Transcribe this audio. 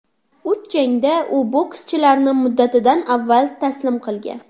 Uch jangda u bokschilarni muddatidan avval taslim qilgan.